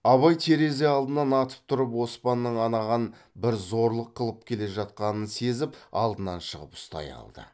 абай терезе алдынан атып тұрып оспанның анаған бір зорлық қылып келе жатқанын сезіп алдынан шығып ұстай алды